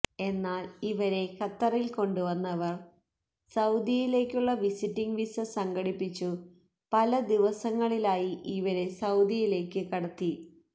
എന്നാല് ഇവരെ ഖത്തറില് കൊണ്ടുവന്നവര് സൌദിയിലേക്കുള്ള വിസിറ്റ് വിസ സംഘടിപ്പിച്ചു പല ദിവസങ്ങളിലായി ഇവരെ സൌദിയിലേക്ക് കടത്തി